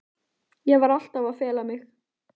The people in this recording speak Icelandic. Ég var alltaf að fela mig.